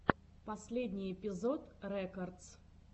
последний эпизод рекодс